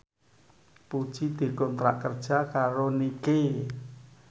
Puji dikontrak kerja karo Nike